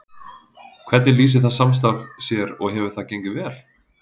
Hvernig lýsir það samstarf sér og hefur það gengið vel?